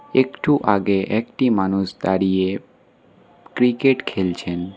একটু আগে একটি মানুষ দাঁড়িয়ে ক্রিকেট খেলছেন।